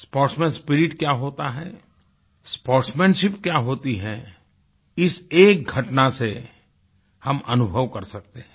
sportsman spirit क्या होता है स्पोर्ट्समैनशिप क्या होती है इस एक घटना से हम अनुभव कर सकते हैं